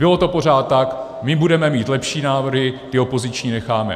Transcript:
Bylo to pořád tak: my budeme mít lepší návrhy, ty opoziční necháme.